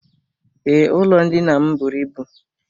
Ee, ụlọ ndina m bụrụ ịbụ.